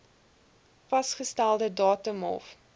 vasgestelde datum hof